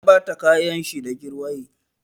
Ya ɓata kayan shi da jirwaye.